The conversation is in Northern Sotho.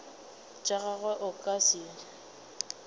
tša gagwe a ka se